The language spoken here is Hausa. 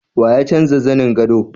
Wa ya canza zanin gado?